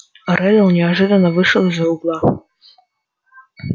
реддл неожиданно вышел из-за угла